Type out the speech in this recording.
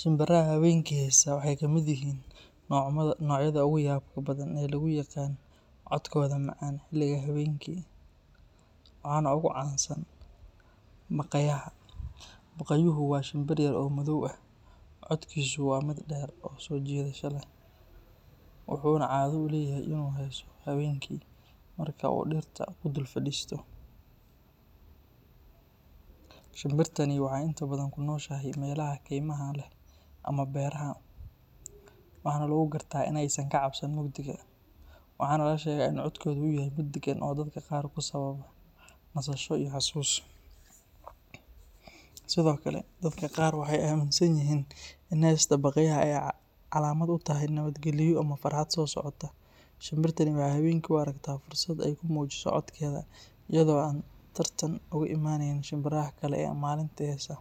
Sunduraha habeenka heesa codkoda macaan, baqayahu codkiisa waa mid deer, wuxuu heesa habeenki, waxeey kunoshahay meelaha beeraha, maka cabsato mugdiga, sido kale waxeey amin sanyihiin inaay nabad galyo, ayado tartan u imaneynin, gilumeyska ayaa habeenki heesa,